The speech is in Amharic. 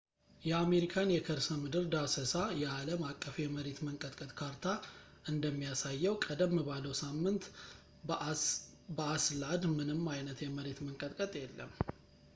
የአሜሪካን የከርሰምድር ዳሰሳ የአለም አቀፍ የመሬት መንቀጥቀጥ ካርታ እንደሚያሳየው ቀደም ባለው ሳምንት በአይስላድ ምንም አይነት የመሬት መንቀጥቀጥ የለም